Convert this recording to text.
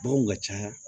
Baganw ka ca